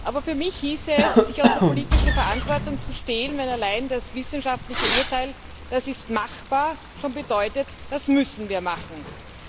Aber für mich hieße es, sich aus der politischen Verantwortung zu stehlen, wenn allein das wissenschaftliche Urteil Das ist machbar schon bedeutet, dass wir etwas machen müssen.